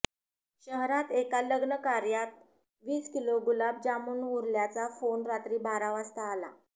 शहरात एका लग्न कार्यात वीस किलो गुलाब जामून उरल्याचा फोन रात्री बारा वाजता आला